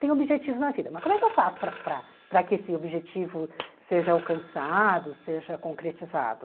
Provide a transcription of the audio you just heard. Tem objetivo na vida, mas como é que eu faço para para para que esse objetivo seja alcançado, seja concretizado?